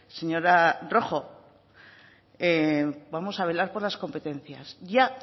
señora rojo vamos a velar por las competencias ya